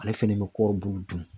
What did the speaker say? Ale fɛnɛ bɛ kɔɔri bulu dun